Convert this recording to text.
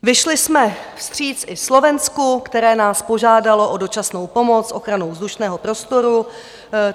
Vyšli jsme vstříc i Slovensku, které nás požádalo o dočasnou pomoc s ochranou vzdušného prostoru.